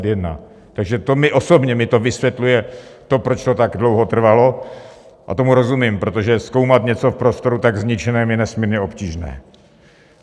Takže to mi osobně vysvětluje to, proč to tak dlouho trvalo, a tomu rozumím, protože zkoumat něco v prostoru tak zničeném je nesmírně obtížné.